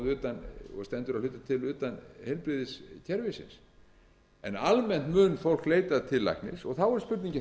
utan og stendur að hluta til utan heilbrigðiskerfisins en almennt mun fólk leita til læknis og þá er spurningin